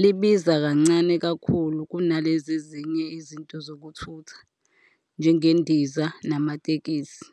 libiza kancane kakhulu kunalezi ezinye izinto zokuthutha, njengendiza namatekisi.